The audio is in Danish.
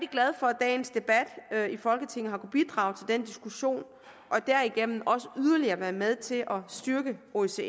glad for at dagens debat i folketinget har kunnet bidrage til den diskussion og derigennem også yderligere været med til at styrke osce